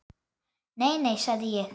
Nei, nei, sagði ég.